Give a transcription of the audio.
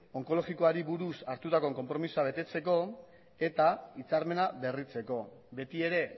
onkologikoari buruz hartutako konpromezua betetzeko eta hitzarmena berritzeko beti ere